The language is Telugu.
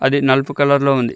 అది నలుపు కలర్ లో ఉంది.